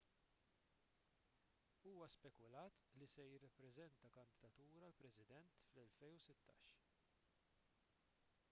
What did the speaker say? huwa spekulat li se jippreżenta kandidatura għal president fl-2016